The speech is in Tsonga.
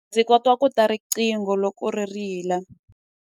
Ndzi kota ku twa riqingho loko ri rila.